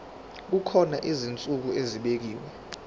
kukhona izinsuku ezibekiwe